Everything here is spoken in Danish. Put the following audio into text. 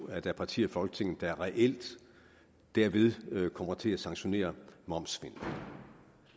at der er partier i folketinget der reelt derved kommer til at sanktionere momssvindel